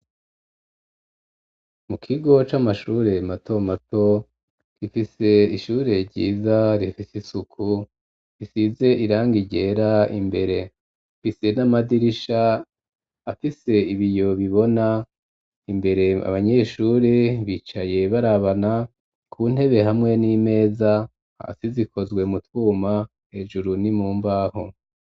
Mu kigo c'amashure mato mato gifise ishure ryiza rifise isuku risize irangi ryera imbere ifise n'amadirisha afise ibiyo bibona imbere abanyeshuri bicaye barabana ku ntebe hamwe n'imeza hasi zikozwe mu twuma hejuru ni mu mbaho.